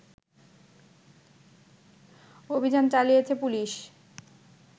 অভিযান চালিয়েছে পুলিশ